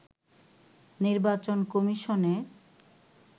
নির্বাচন কমিশনের